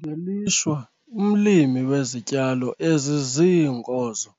Ngelishwa umlimi wezityalo eziziinkozo